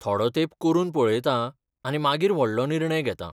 थोडो तेंप करून पळयतां आनी मागीर व्हडलो निर्णय घेतां.